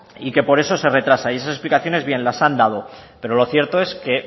y que por eso se retrasa y esas explicaciones bien las han dado pero lo cierto es que